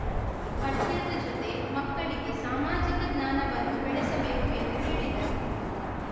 ಪಠ್ಯದ ಜೊತೆ ಮಕ್ಕಳಿಗೆ ಸಾಮಾಜಿಕ ಜ್ಞಾನವನ್ನೂ ಬೆಳೆಸಬೇಕು ಎಂದು ಹೇಳಿದರು